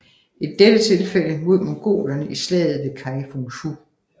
I dette tilfælde mod mongolerne i slaget ved Kai Fung Fu